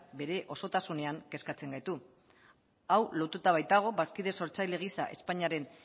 bere osotasunean kezkatzen gaitu hau lotuta baitago bazkide sortzaile gisa espainiaren